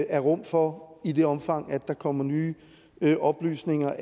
er rum for i det omfang der kommer nye nye oplysninger